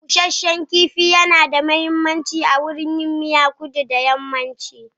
Busashen kifi nada mahimmanci wurin yin miya a kudu da yammaci.